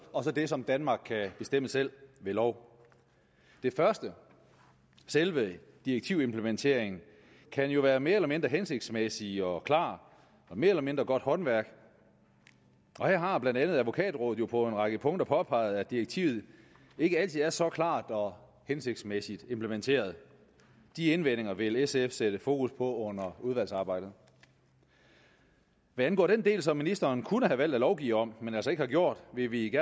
og så det som danmark kan bestemme selv ved lov det første selve direktivimplementeringen kan være mere eller mindre hensigtsmæssig og klar og mere eller mindre godt håndværk her har blandt andet advokatrådet jo på en række punkter påpeget at direktivet ikke altid er så klart og hensigtsmæssigt implementeret de indvendinger vil sf sætte fokus på under udvalgsarbejdet hvad angår den del som ministeren kunne have valgt at lovgive om men altså ikke har gjort vil vi